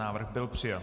Návrh byl přijat.